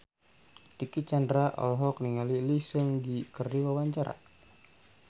Dicky Chandra olohok ningali Lee Seung Gi keur diwawancara